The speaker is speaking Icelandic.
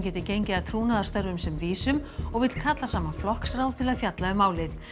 geti gengið að trúnaðarstörfum sem vísum og vill kalla saman flokksráð til að fjalla um málið